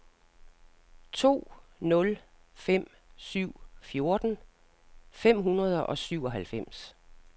to nul fem syv fjorten fem hundrede og syvoghalvfems